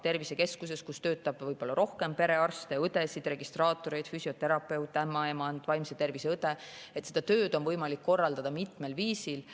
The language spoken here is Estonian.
Tervisekeskuses, kus ta töötab, võib olla rohkem perearste, õdesid, registraatoreid, füsioterapeut, ämmaemand, vaimse tervise õde – seda tööd on võimalik korraldada mitmel viisil.